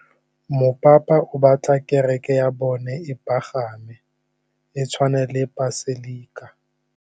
Mopapa o batla kereke ya bone e pagame, e tshwane le paselika.